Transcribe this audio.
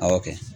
Awɔ kɛ